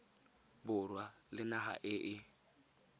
borwa le naga e e